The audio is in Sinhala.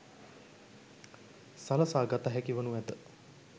සලසා ගතහැකි වනු ඇත.